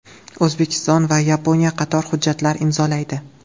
O‘zbekiston va Yaponiya qator hujjatlar imzolaydi.